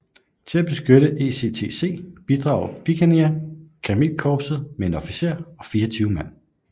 Til at beskytte ECTC bidrog Bikanir kamelkorpset med en officer og 24 mand